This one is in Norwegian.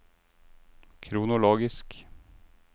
kronologisk